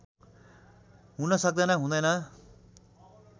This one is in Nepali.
हुन सक्दैन हुँदैन